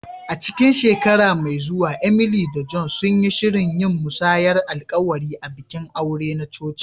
A cikin shekara mai zuwa, Emily da John sun yi shirin yin musayar alƙawari a bikin aure na coci.